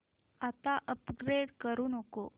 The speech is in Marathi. आता अपग्रेड करू नको